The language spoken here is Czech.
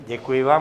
Děkuji vám.